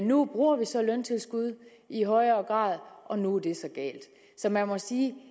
nu bruger vi så løntilskud i højere grad og nu er det så galt så man må sige